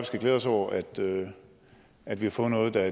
skal glæde os over at at vi har fået noget der